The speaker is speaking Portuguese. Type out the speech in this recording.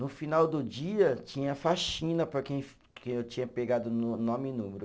No final do dia, tinha faxina para quem, quem eu tinha pegado no nome e número.